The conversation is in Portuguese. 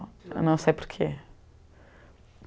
Eu não sei por quê.